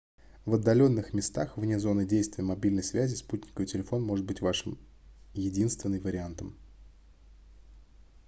в отдаленных местах вне зоны действия мобильной связи спутниковый телефон может быть вашим единственный вариантом